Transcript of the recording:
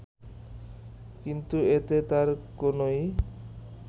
কিন্তু এতে তার কোনই